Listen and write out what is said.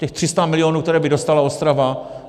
Těch 300 milionů, které by dostala Ostrava?